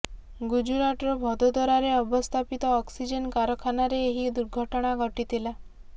ଗୁଜରାଟର ଭଦୋଦରାରେ ଅବସ୍ଥାପିତ ଅକ୍ସିଜେନ୍ କାରଖାନାରେ ଏହି ଦୁର୍ଘଟଣା ଘଟିଥିଲା